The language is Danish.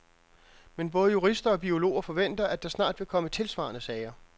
Men både jurister og biologer forventer, at der snart vil komme tilsvarende sager.